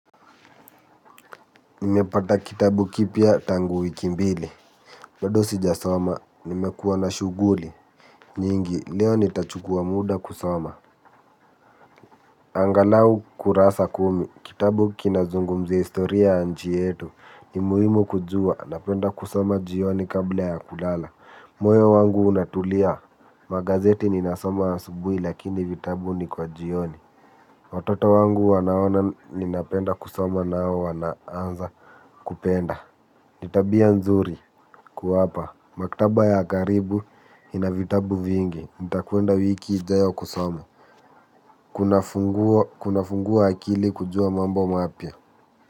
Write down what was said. Nimepata kitabu kipya tangu wiki mbili. Bado sijasoma, nimekuwa na shuguli. Nyingi, leo nitachukua muda kusoma. Angalau kurasa kumi, kitabu kinazungumzia historia ya nchi yetu. Nimuhimu kujua, napenda kusoma jioni kabla ya kulala. Moyo wangu unatulia, magazeti ninasoma asubuhi lakini vitabu ni kwa jioni. Watoto wangu wanaona ninapenda kusoma nao wanaanza kupenda. Nitabia nzuri kuwapa maktaba ya karibu inavitabu vingi. Nitakwenda wiki ijayo kusoma. Kunafungua akili kujua mambo mapya.